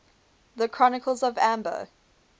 the chronicles of amber